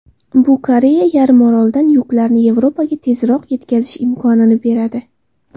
Bu Koreya yarimorolidan yuklarni Yevropaga tezroq yetkazish imkonini beradi.